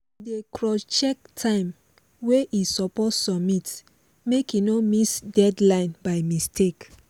e dey crosscheck time wey e suppose submit make e no miss deadline by mistake